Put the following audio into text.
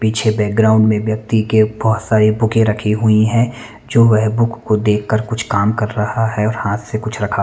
पीछे बैकग्राउंड में व्यक्ति के बहोत सारी बूकें रखी हुई है जो वह बुक को देख कर कुछ काम कर रहा है हाथ से कुछ रखा--